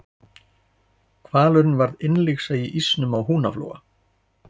Hvalurinn varð innlyksa í ísnum á Húnaflóa.